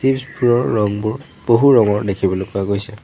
পিছফালৰ ৰংবোৰ বহু ৰঙৰ দেখিবলৈ পোৱা গৈছে।